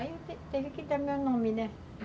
Aí eu teve teve que dar meu nome, né?